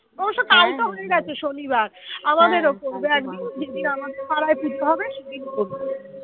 যেদিন আমাদের পাড়ায় পুজো হবে সেদিন করবে